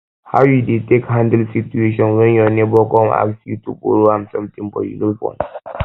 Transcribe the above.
how you dey take handle situation when your neighbor come ask you to borrow am something but you no want